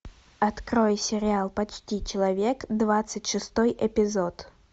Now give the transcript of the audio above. открой сериал почти человек двадцать шестой эпизод